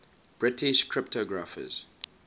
british cryptographers